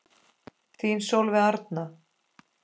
Þín Sólveig Arna.